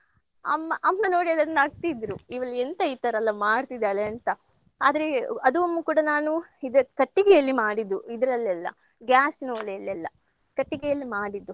ಅಮ್ಮಾ ಅಮ್ಮ ನೋಡಿ ಅದನ್ನ್ ನಗ್ತಿದ್ರು ಇವಳೆಂತ ಈ ತರ ಎಲ್ಲ ಮಾಡ್ತಿದ್ದಾಳೆ ಅಂತ. ಆದ್ರೆ ಅದು ಒಮ್ಮೆ ಕೂಡಾ ನಾನು ಇದ್ ಕಟ್ಟಿಗೆಯಲ್ಲಿ ಮಾಡಿದ್ದು ಇದ್ರಲ್ಲಿ ಅಲ್ಲ gas ನ ಒಲೆಯಲ್ಲಲ್ಲ ಕಟ್ಟಿಗೆಯಲ್ಲಿ ಮಾಡಿದ್ದು.